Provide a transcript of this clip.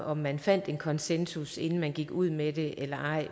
om man fandt en konsensus inden man gik ud med det eller ej